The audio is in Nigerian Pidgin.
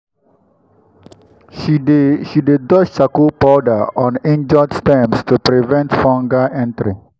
she dey she dey dust charcoal powder on injured stems to prevent fungal entry.